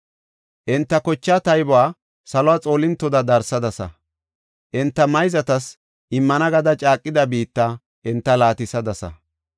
Enta kochaa taybuwa salo xoolintoda darsadasa. Enta mayzatas immana gada caaqida biitta enta laatisadasa.